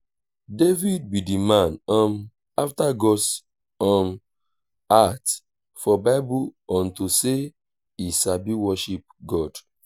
david be the man um after god's um heart for bible unto say he sabi worship god